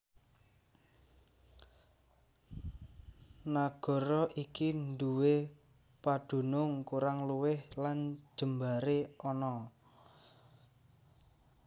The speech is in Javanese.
Nagara iki nduwé padunung kurang luwih lan jembaré ana